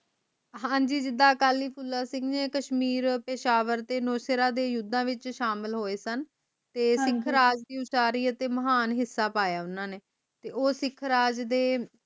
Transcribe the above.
ਹਾਂਜੀ ਜੀਦਾ ਅਕਾਲੀ ਫੂਲਾ ਸਿੰਘ ਜੀ ਨੇ ਕਸ਼ਮੀਰ ਪੇਸ਼ਾਵਰ ਤੇ ਨੋਸਫੇਰਾ ਦੇ ਯੁਧਾਂ ਵਿਚ ਸ਼ਾਮਿਲ ਹੋਏ ਸਨ ਤੇ ਸਿੱਖ ਰਾਜ ਦੀ ਉਚਾਰੀ ਉਤੇ ਮਹਾਨ ਹਿਸਾ ਪਾਯਾ ਓਹਨਾ ਨੇ ਤੇ ਉਸ ਸਿੱਖ ਰਾਜ ਦੇ